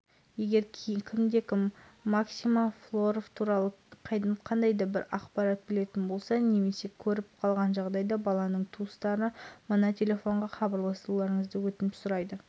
серік сәпиев атлетикалық қалашықтың әкімі болып тағайындалды жасар бала қаңтар күні жоғалып кеткен дәл қазіргі жағдайда